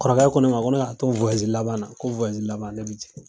Kɔrɔkɛ kɔ ne ma ko ne ka to wayazi laban na ko wayazi laban ko ne be jigin